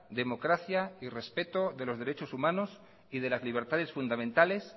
democracia y respeto de los derechos humanos y de las libertades fundamentales